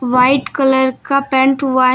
white colour का paint हुआ--